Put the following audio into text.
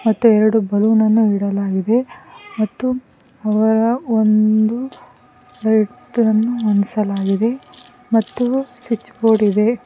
ಮತ್ತೆ ಎರಡು ಬಲೂನ್ ಅನ್ನು ಇಡಲಾಗಿದೆ ಮತ್ತು ಅವರ ಒಂದು ಲೈಟ್ ಅನ್ನು ಹೊಂದಿಸಲಾಗಿದೆ ಮತ್ತು ಸ್ವಿಚ್ ಬೋರ್ಡ್ ಇದೆ.